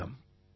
வணக்கம்